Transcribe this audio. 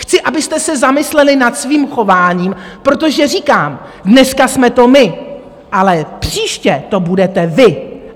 Chci, abyste se zamysleli nad svým chováním, protože říkám, dneska jsme to my, ale příště to budete vy!